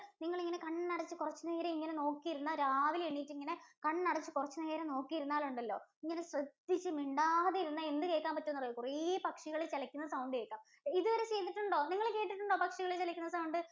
നിങ്ങളിങ്ങനെ കണ്ണടച്ചു കുറച്ച് നേരം ഇങ്ങനെ നോക്കിയിരുന്നാൽ രാവിലെ എണീറ്റ് ഇങ്ങനെ കണ്ണടച്ച് കുറച്ച് നേരം നോക്കി ഇരുന്നാൽ ഉണ്ടല്ലോ. ഇങ്ങനെ ശ്രദ്ധിച്ച് മിണ്ടാതെ ഇരുന്നാൽ എന്ത് കേൾക്കാൻ പറ്റുമെന്നറിയുവോ. കുറേ പക്ഷികൾ ചെലയ്ക്കുന്ന sound കേൾക്കാം ഇത് വരെ കേട്ടിട്ടുണ്ടോ? നിങ്ങൾ കേൾക്കുന്നുണ്ടോ? പക്ഷികൾ ചെലയ്ക്കുന്ന sound.